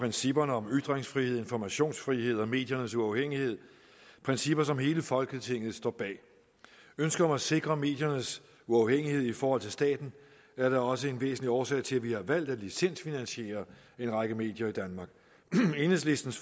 principperne om ytringsfriheden informationsfriheden og mediernes uafhængighed principper som hele folketinget står bag ønsket om at sikre mediernes uafhængighed i forhold til staten er da også en væsentlig årsag til at vi har valgt at licensfinansiere en række medier i danmark enhedslistens